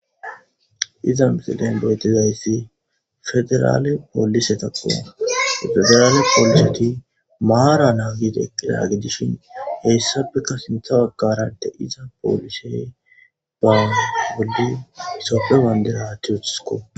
Iza misilen beetizayssi federaale poolise takko federaale pooliseti maara naagideqidagidishin heyssabeka sintha baggarade iza poolisey baane bolli sofe wandera tuutsko.